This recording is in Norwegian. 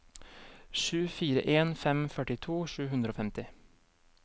sju fire en fem førtito sju hundre og femti